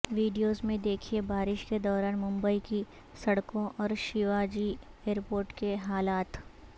videos میں دیکھئے بارش کے دوران ممبئی کی سڑکوں اور شیوا جی ایئرپورٹ کے حالات